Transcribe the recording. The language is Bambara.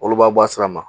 Olu b'a bɔ a sira ma